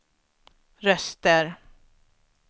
röster